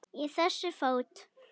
Í þessu fót